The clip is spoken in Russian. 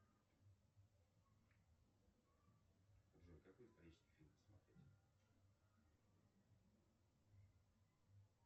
джой какой исторический фильм посмотреть